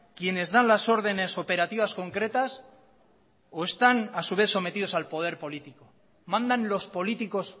quienes dan las órdenes operativas concretas o están a su vez sometidos al poder político mandan los políticos